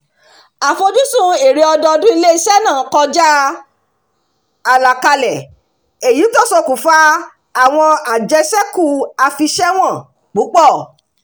àfojúsùn èrè ọdọọdún ilé-iṣẹ́ náà kọjá àlàkalẹ̀ èyí tó ṣokùnfà àwọn àjẹṣẹ́kù afiṣẹ́wọ̀n púpọ̀